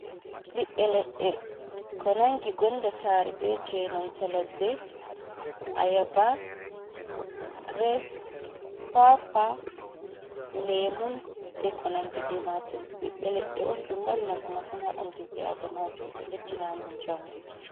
Ɓiɓbe leɗɗe ko nangi gonda sare, be je nanta ladde, ayaba, grebs, kwakwa, lemu, be ko nandi be majum. Ɓiɓbe leɗɗe on ɗum mari nafu masin ha ɓandu ɓi Ada majo. Ɗo beddina amin njamu.